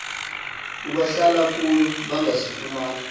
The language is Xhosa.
abahlala kuyo bangasifumana